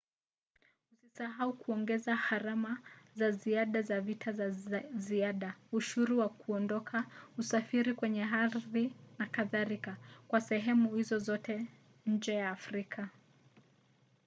usisahau kuongeza gharama za ziada za visa za ziada ushuru wa kuondoka usafiri kwenye ardhi n.k. kwa sehemu hizo zote nje ya afrika